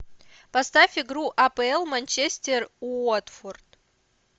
поставь игру апл манчестер уотфорд